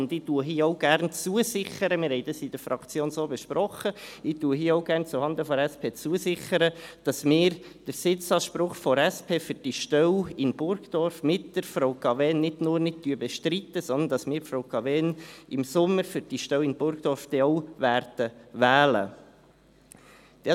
Ich sichere hier auch gerne zuhanden der SP zu – wir haben dies in der Fraktion so besprochen –, dass wir den Sitzanspruch der SP für die Stelle in Burgdorf mit Frau Cavegn nicht nur nicht bestreiten, sondern dass wir Frau Cavegn im Sommer für die Stelle in Burgdorf wählen werden.